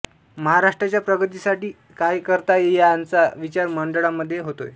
महाराष्ट्राच्या प्रगतीसाठी काय करता येईल याचा विचार या मंडळांमध्ये होतोय